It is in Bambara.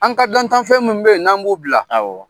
An ka dantanfɛn mun bɛ yen, n'an b'u bila; Awɔ